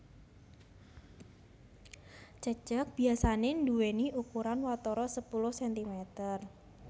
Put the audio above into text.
Cecek biasané nduwèni ukuran watara sepuluh sentimeter